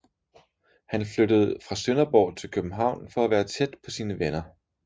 Han flyttede fra Sønderborg til København for at være tæt på sine venner